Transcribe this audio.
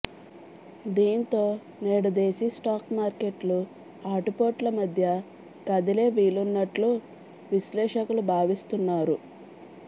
దీంతో నేడు దేశీ స్టాక్ మార్కెట్లు ఆటుపోట్ల మధ్య కదిలే వీలున్నట్లు విశ్లేషకులు భావిస్తున్నారు